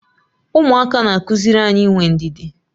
Ụmụaka na-akụziri anyị inwe ndidi.